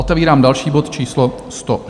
Otevírám další bod, číslo